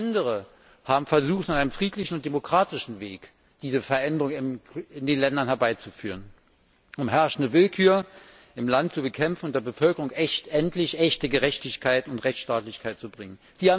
Andere haben auf friedlichem und demokratischem Weg versucht, diese Veränderung in den Ländern herbeizuführen, um herrschende Willkür im Land zu bekämpfen und der Bevölkerung endlich echte Gerechtigkeit und Rechtstaatlichkeit zu bringen.